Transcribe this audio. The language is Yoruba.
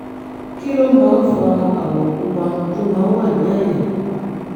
kí ló máa ń fa àwọ̀ pupa tó máa ń wà ní àyà?